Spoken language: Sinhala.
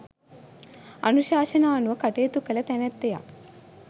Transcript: අනුශාසනා අනුව කටයුතු කළ තැනැත්තියක්.